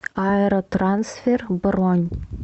аэро трансфер бронь